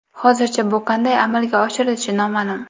Hozircha bu qanday amalga oshirilishi noma’lum.